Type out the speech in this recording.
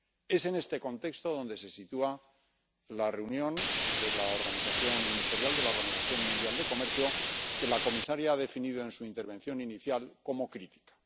Es en este contexto donde se sitúa la reunión de la organización ministerial de la Organización Mundial del Comercio que la comisaria ha definido en su intervención inicial como crítica.